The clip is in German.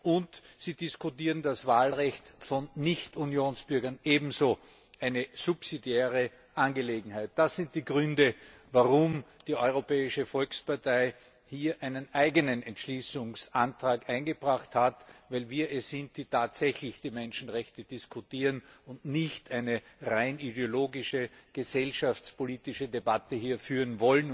und Sie diskutieren das Wahlrecht von Nichtunionsbürgern ebenso eine subsidiäre Angelegenheit. Das sind die Gründe, warum die Europäische Volkspartei hier einen eigenen Entschließungsantrag eingebracht hat, denn wir wollen tatsächlich die Menschenrechte diskutieren und nicht eine rein ideologische, gesellschaftspolitische Debatte führen.